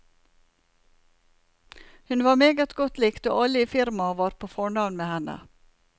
Hun var meget godt likt, og alle i firmaet var på fornavn med henne.